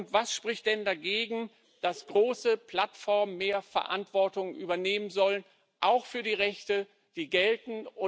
Und was spricht denn dagegen, dass große Plattformen mehr Verantwortung übernehmen sollen, auch für die Rechte, die gelten?